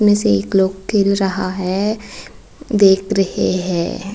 मे से एक लोग खेल रहा है देख रहे है।